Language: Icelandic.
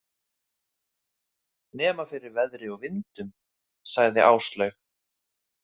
Nema fyrir veðri og vindum, sagði Áslaug.